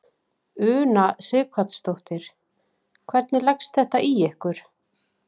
Una Sighvatsdóttir: Hvernig leggst þetta í ykkur?